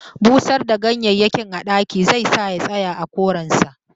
Busar da ganyayyakin a ɗaki zai sa ya tsaya a koren sa